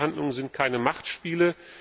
Friedensverhandlungen sind keine Machtspiele.